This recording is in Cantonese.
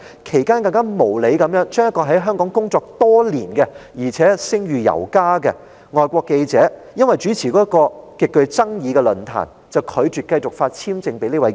其間，一名在港工作多年並褒譽有加的外國記者，因為主持一個極具爭議的論壇，便被無理地拒絕繼續獲發簽證。